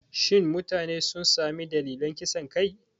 Shin mutanen sun sami dalilan kisan kai?